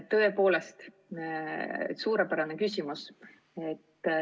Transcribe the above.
Tõepoolest suurepärane küsimus!